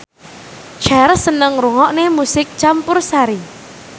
Cher seneng ngrungokne musik campursari